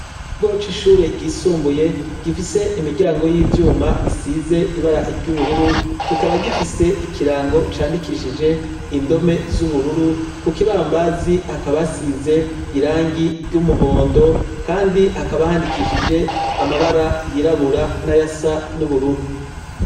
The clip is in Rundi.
Ikigo cishure ryisumbuye gifise imiryango yivyuma isize ibara vyubururu kikaba gifise ikirango candikishije indome zubururu kukibambazi hakaba hasize irangi ryumuhondo kandi haba handikishije amabara yirabura nayasa nubururu